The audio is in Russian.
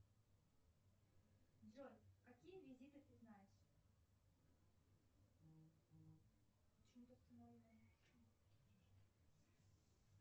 джой какие визиты ты знаешь